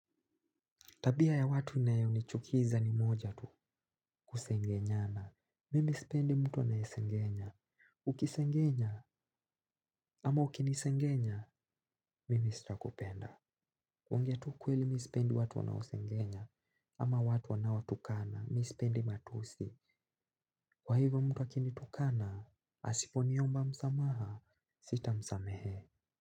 Tabia ya watu inayo nichukiza ni moja tu kusengenyana. Mimi spendi mtu anaesengenya. Ukisengenya ama ukinisengenya, mimi sita kupenda. Kungea tu kweli mi spendi watu wanao sengenya ama watu wanao tukana, mi spendi matusi. Kwa hivo mtu akinitukana, asiponiomba msamaha, sita msamehe.